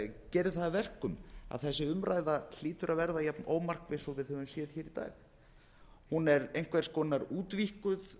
gerir það að verkum að þessi umræða hlýtur að verða jafnómarkviss og við höfum séð í dag hún er einhvers konar útvíkkuð